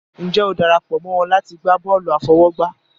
Ǹjẹ́ o dara pọ̀ mọ́ wọn láti gbá bọ́ọ̀lù àfọwọ́gbá?